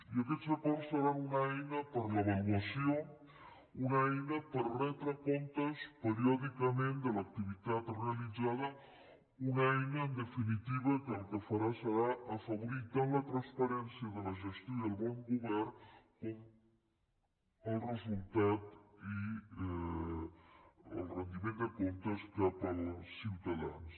i aquests acords seran una eina per a l’avaluació una eina per retre comptes periòdicament de l’activitat realitzada una eina en definitiva que el que farà serà afavorir tant la transparència de la gestió i el bon govern com el resultat i el rendiment de comptes cap als ciutadans